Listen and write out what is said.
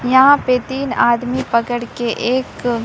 यहां पे तीन आदमी पकड़ के एक--